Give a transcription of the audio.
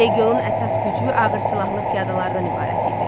Legionun əsas gücü ağır silahlı piyadalardan ibarət idi.